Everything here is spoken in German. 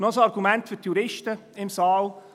Noch ein Argument für die Juristen im Saal.